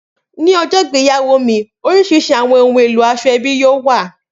Ni ọjọ igbeyawo mi oriṣiriṣi awọn ohun elo asoebi yoo wa.